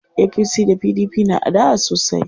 APC da PDP na adawa sosai.